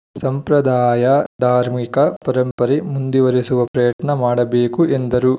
ಸಂಪ್ರದಾಯ ಧಾರ್ಮಿಕ ಪರಂಪರೆ ಮುಂದುವರಿಸುವ ಪ್ರಯತ್ನ ಮಾಡಬೇಕು ಎಂದರು